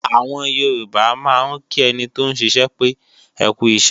Àwọn Yorùbá máa ń kí ẹni tóún ṣiṣẹ́ pé "ẹkú iṣẹ́"